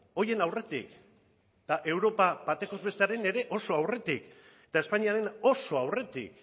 horien aurretik eta europa bataz bestekoaren ere oso aurretik eta espainiaren oso aurretik